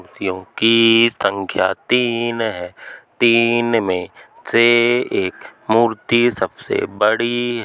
मूर्तियों की संख्या तीन है। तीन मे से एक मूर्ति सबसे बड़ी --